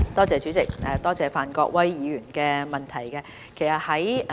主席，多謝范國威議員的補充質詢。